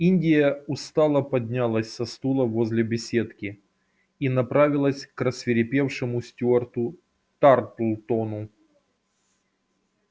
индия устало поднялась со стула возле беседки и направилась к рассвирепевшему стюарту тарлтону